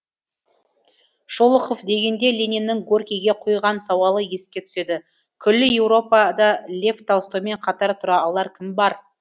шолохов дегенде лениннің горькийге қойған сауалы еске түседі күллі еуропада лев толстоймен қатар тұра алар кім бар